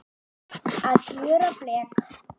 Að gjöra blek